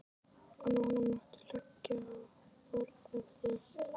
Og núna máttu leggja á borð ef þú vilt.